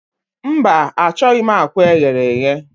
Mba, achọghị m akwa eghere eghe.